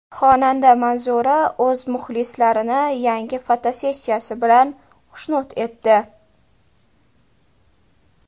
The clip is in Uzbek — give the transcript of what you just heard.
Xonanda Manzura o‘z muxlislarini yangi fotosessiyasi bilan xushnud etdi.